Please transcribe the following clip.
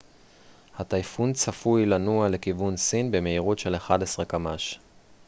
הטייפון צפוי לנוע לכיוון סין במהירות של 11 קמ ש